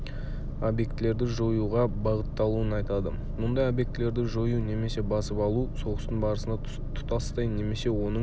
объектілерді жоюға бағытталуын айтады мұндай объектілерді жою немесе басып алу соғыстың барысында тұтастай немесе оның